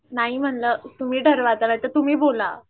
नाही म्हणलं तुम्ही ठरवा तर आता तुम्ही बोला